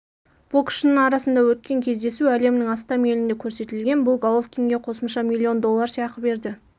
боксшының арасында өткен кездесу әлемнің астам елінде көрсетілген бұл головкинге қосымша миллион доллар сыйақы берді